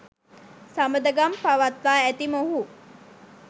සබඳකම් පවත්වා ඇති මොහු